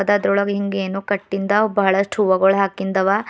ಚಿತ್ರದೊಳಗ್ ಹಿಂಗ್ ಏನೋ ಕಟ್ಟಿಂದ ಬಹಳಷ್ಟು ಹೂವಗೊಳು ಹಾಕಿಂದವ.